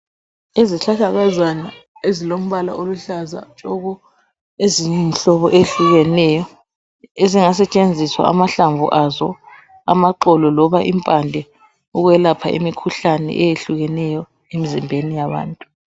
Izihlahlakazana ezilombala oluhlaza tshoko, eziyimhlobo ehlukeneyo, ezingasetshenziswa amahlamvu azo, amaxolo loba impande ukwelapha imikhuhlane eyehlukeneyo emizimbeni yabantu.